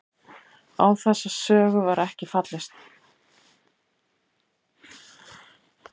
Á þessa sögu var ekki fallist